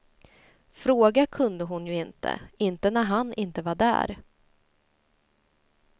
Fråga kunde hon ju inte, inte när han inte var där.